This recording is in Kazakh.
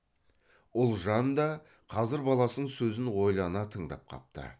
ұлжан да қазір баласының сөзін ойлана тыңдап қапты